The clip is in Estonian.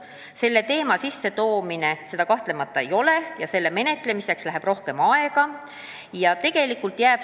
Kõnealuse teema sissetoomine seda kahtlemata ei ole ja muudatusettepaneku laias ringis arutamiseks läheks palju aega.